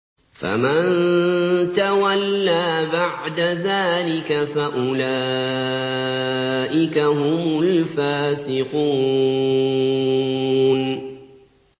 فَمَن تَوَلَّىٰ بَعْدَ ذَٰلِكَ فَأُولَٰئِكَ هُمُ الْفَاسِقُونَ